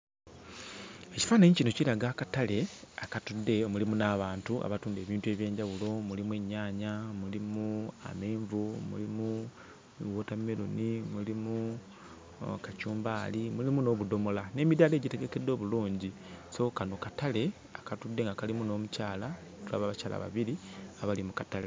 Ekifaananyi kino kiraga akatale akatudde eyo. Mulimu n'abantu abatunda ebintu eby'enjawulo: mulimu ennyaanya, mulimu amenvu, mulimu wootammeroni, mulimu akacumbaali, mulimu n'obudomola n'emidaala egitegekeddwa obulungi. So, kano katale akatudde nga kalimu n'omukyala; tulaba abakyala babiri abali mu katale.